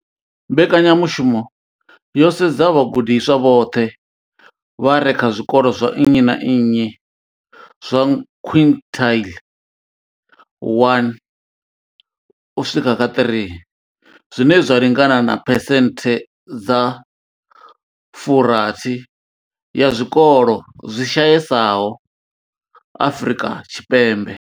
Mbekanyamushumo yo sedza vhagudiswa vhoṱhe vha re kha zwikolo zwa nnyi na nnyi zwa quintile 1 u swika kha 3, zwine zwa lingana na phesenthe dza 60 ya zwikolo zwi shayesaho Afrika Tshipembe.